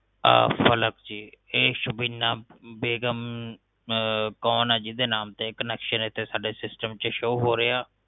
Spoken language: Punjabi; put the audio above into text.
ਆ ਪਲਕ ਜੀ ਇਹ ਸਬੀਨਾ ਬੇਗ਼ਮ ਕੋਣ ਆ ਜਿਹਦੇ ਨਾਮ ਤੇ connection ਇਥੇ ਸਾਡੇ ਸਿਸਟਮ ਚ ਸ਼ੋ ਹੋ ਰਿਹਾ